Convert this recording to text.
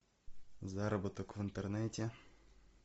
заработок в интернете